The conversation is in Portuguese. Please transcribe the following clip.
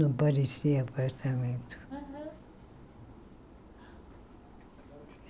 Não parecia apartamento. Aham